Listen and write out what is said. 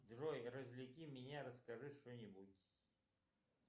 джой развлеки меня расскажи что нибудь